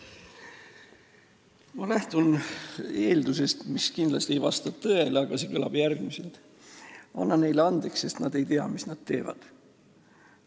Ma lähtun eeldusest, mis kindlasti ei vasta tõele, aga see kõlab järgmiselt: anna neile andeks, sest nad ei tea, mis nad teevad.